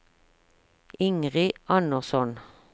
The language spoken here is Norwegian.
Ingrid Andersson